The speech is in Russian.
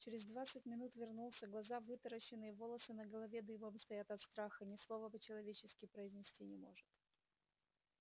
через двадцать минут вернулся глаза вытаращенные волосы на голове дыбом стоят от страха ни слова по-человечески произнести не может